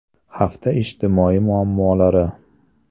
Hafta ijtimoiy muammolari.